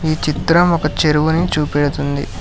చిత్రం ఒక చెరువు ని చూపెడుతుంది.